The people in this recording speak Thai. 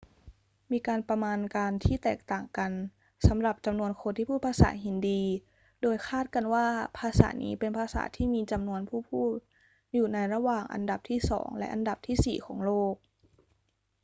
มีการประมาณการที่แตกต่างกันสำหรับจำนวนคนที่พูดภาษาฮินดี โดยคาดกันว่าภาษานี้เป็นภาษาที่มีจำนวนผู้พูดอยู่ในระหว่างอันดับที่สองและอันดับที่สี่ของโลก